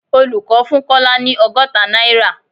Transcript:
Olùkọ́ fún Kọ́lá ni ọgọ́ta náírà